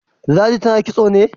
Ladi tana kitso ne?